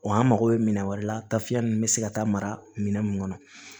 Wa an mago bɛ minan wɛrɛ la taafiyɛn ninnu bɛ se ka taa mara minɛn mun kɔnɔ